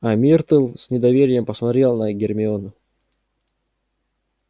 а миртл с недоверием посмотрела на гермиону